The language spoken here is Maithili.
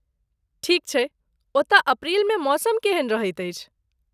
ठीक छैक ओतय अप्रैल मे मौसम केहन रहैत अछि?